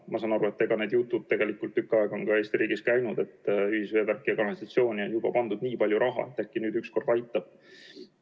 Ma saan aru, et Eesti riigis on tegelikult tükk aega käinud need jutud, et ühisveevärki ja ‑kanalisatsiooni on juba pandud nii palju raha, et äkki nüüd ükskord aitab.